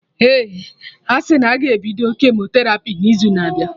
Ee, asị na ọ ga-ebido kemoterapi n'izu na abịa